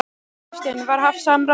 Hafsteinn: Var haft samráð við hann?